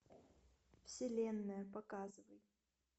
вселенная показывай